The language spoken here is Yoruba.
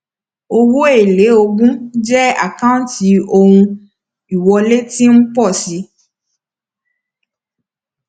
owó èlé ogún jẹ àkáǹtí ohun ìwọlé tí ń pọ sí